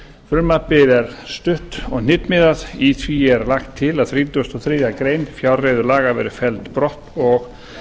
frumvarpið er stutt og hnitmiðað í því er lagt til að þrítugasta og þriðju grein fjárreiðulaga verði felld brott og